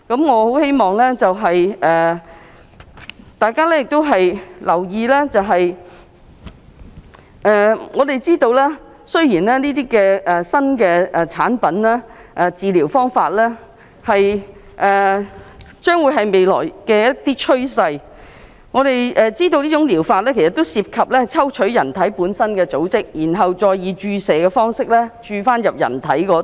我希望大家留意，雖然這些新產品和治療方法是未來的新趨勢，但它們涉及抽取人體本身的組織，然後再以注射方式注入身體。